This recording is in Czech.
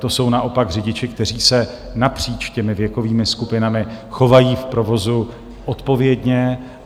To jsou naopak řidiči, kteří se napříč těmi věkovými skupinami chovají v provozu odpovědně.